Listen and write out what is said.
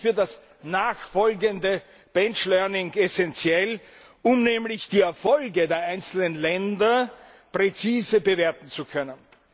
Sie sind für das nachfolgende Benchlearning essenziell, um nämlich die Erfolge der einzelnen Länder präzise bewerten zu können.